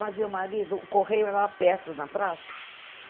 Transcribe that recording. Mas meu marido, o Correio era lá perto, na praça.